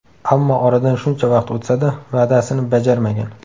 Ammo oradan shuncha vaqt o‘tsa-da, va’dasini bajarmagan.